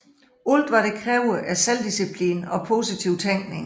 Alt hvad det kræver er selvdisciplin og positiv tænkning